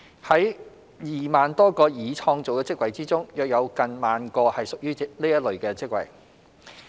在2萬多個已創造的職位中，約有近萬個是屬於這類別的職位。